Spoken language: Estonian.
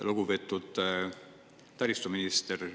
Lugupeetud taristuminister!